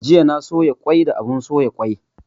Jiya na soya kwai da abun soya kwai